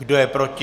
Kdo je proti?